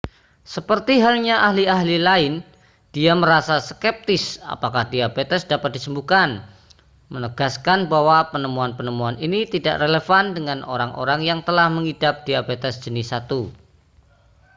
seperti halnya ahli-ahli lain dia merasa skeptis apakah diabetes dapat disembuhkan menegaskan bahwa penemuan-penemuan ini tidak relevan dengan orang-orang yang telah mengidap diabetes jenis 1